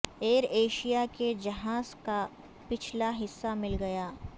ایر Asia کے جہاز کا پچھلا حصہ مل گیا